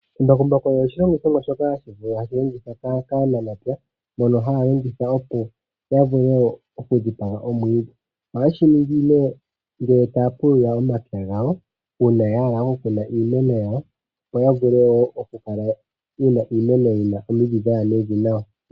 Embakumbaku olyo oshilongithomwa shoka hashi vulu oku longithwa kaanamapya mono haya longitha oku dhipaga omwiidhi. Ohaye shi ningi ngele taya pulula omapya gawo uuna ya hala oku kuna iimeno yawo opo ya vule wo oku kala yena iimeno yina omidhi dhaya mevi nawa.